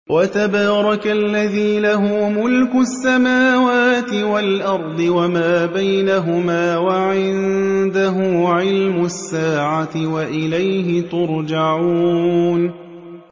وَتَبَارَكَ الَّذِي لَهُ مُلْكُ السَّمَاوَاتِ وَالْأَرْضِ وَمَا بَيْنَهُمَا وَعِندَهُ عِلْمُ السَّاعَةِ وَإِلَيْهِ تُرْجَعُونَ